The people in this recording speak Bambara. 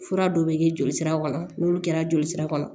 Fura dɔw bɛ kɛ jolisira kɔnɔ n'olu kɛra joli sira kɔnɔ